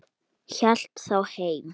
Hélt þá heim.